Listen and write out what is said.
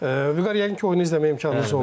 Vüqar yəqin ki, oyunu izləməyə imkanınız oldu.